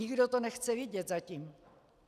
Nikdo to nechce vidět zatím.